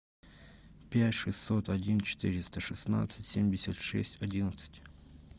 пять шестьсот один четыреста шестнадцать семьдесят шесть одиннадцать